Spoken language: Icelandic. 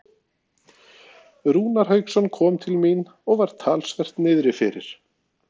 Rúnar Hauksson kom til mín og var talsvert niðrifyrir.